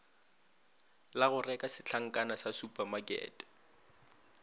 la goreka setlankana sa supamakete